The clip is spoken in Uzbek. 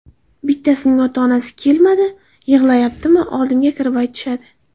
Bittasining ota-onasi kelmadi, yig‘layaptimi, oldimga kirib aytishadi.